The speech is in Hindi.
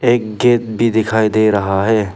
एक गेट भी दिखाई दे रहा है।